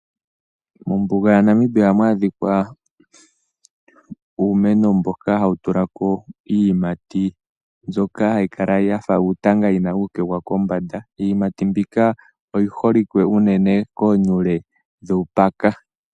Mombuga yaNamibia ohamu adhika uumeno mboka hawu tulako iiyimati mbyoka hayi kala yafa uutanga yina uukegwa kombanda. Iiyimati mbika oyi holike unene koonyule dhuùpaka.